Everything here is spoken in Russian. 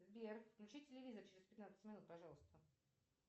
сбер включи телевизор через пятнадцать минут пожалуйста